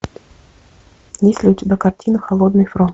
есть ли у тебя картина холодный фронт